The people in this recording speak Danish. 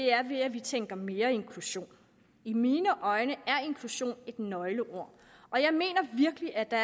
er ved at vi tænker i mere inklusion i mine øjne er inklusion et nøgleord og jeg mener virkelig at der